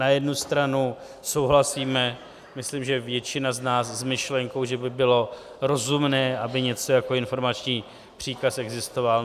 Na jednu stranu souhlasíme, myslím že většina z nás, s myšlenkou, že by bylo rozumné, aby něco jako informační příkaz existovalo.